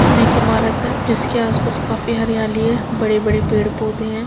पुणे की इमारत है जिसके आसपास काफी हरियाली है बड़े-बड़े पेड़ पौधे हैं।